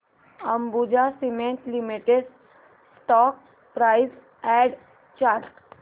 Ambuja cement limited stock price and chart